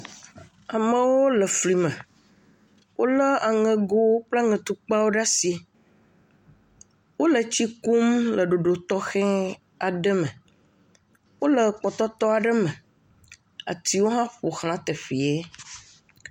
Amewo le fli me, wolé aŋegowo kple aŋetukpawo ɖe asi. Wole tsi kum le ɖoɖo tɔxɛ aɖe me. Wole kpɔtɔtɔ aɖe me, atiwo hã ƒo xla teƒee.